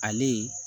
Ale